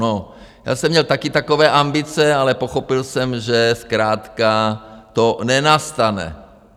No já jsem měl taky takové ambice, ale pochopil jsem, že zkrátka to nenastane.